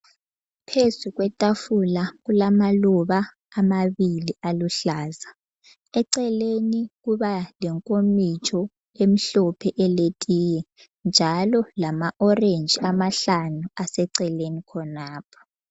Phezu kwetafula kulamaluba amabili aluhlaza. Eceleni kuba lenkomitsho emhlophe eletiye, njalo lama orange amahlanu aseceleni khonapho.